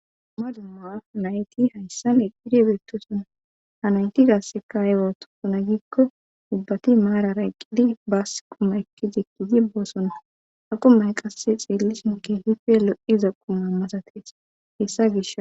Ma dumawa nayti hayssan eqqidi beettosona hanayti gasseka ay ootosona giikko ubbati maarara eqqidi baas quma ekki zekkizi boosonna ha qummay qasse xeellishinke hife lo'iza qumamasatees hessa gish.